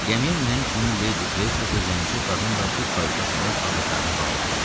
Gəmiyə minən kimi Ledi Qreystok zəngçi qadınla bu kayuta salıb ağızlarını bağlamışdılar.